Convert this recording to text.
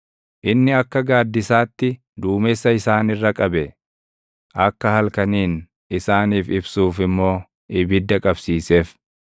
Inni akka gaaddisaatti duumessa isaan irra qabe; akka halkaniin isaaniif ibsuuf immoo ibidda qabsiiseef.